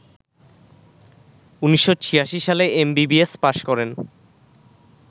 ১৯৮৬ সালে MBBS pass করেন